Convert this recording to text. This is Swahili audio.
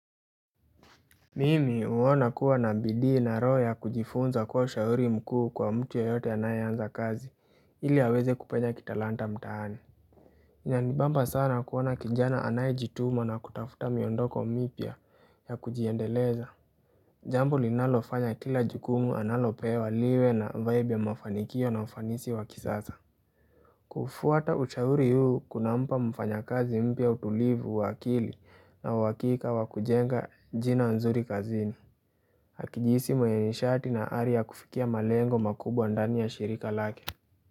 Mimi huona kua na bidii na roho ya kujifunza kuwa ushauri mkuu kwa mtu yeyote anayeanza kazi ili aweze kupenya kitalanta mtaani inanibamba sana kuona kijana anayejituma na kutafuta miondoko mipya ya kujiendeleza Jambo linalofanya kila jukumu analopewa liwe na vibe ya mafanikio na ufanisi wa kisasa kufuata ushauri huu kunampa mfanyakazi mpya utulivu wa akili na uhakika wakujenga jina nzuri kazini Hakijihisi mwenye nishati na ari ya kufikia malengo makubwa ndani ya shirika lake.